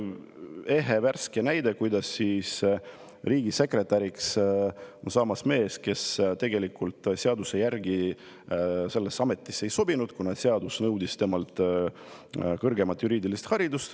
Ehe värske näide: riigisekretäriks on saamas mees, kes seaduse järgi sellesse ametisse ei sobinud, kuna seadus nõudis kõrgemat juriidilist haridust.